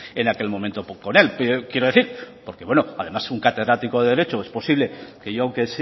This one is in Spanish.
en aquel momento con él quiero decir porque bueno además un catedrático de derecho es posible que yo aunque